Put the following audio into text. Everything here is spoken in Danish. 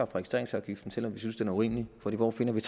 registreringsafgiften selv om vi synes den er urimelig for hvor finder vi